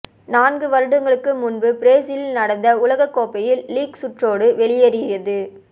நான்கு வருடங்களுக்கு முன்பு பிரேசிலில் நடந்த உலககோப்பையில் லீக் சுற்றோடு வெளியேறியது